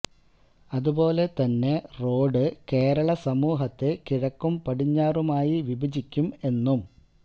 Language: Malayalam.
അതുപോലെ തന്നെ റോഡ് കേരള സമൂഹത്തെ കിഴക്കും പടിഞ്ഞാറുമായി വിഭജിക്കും എന്നും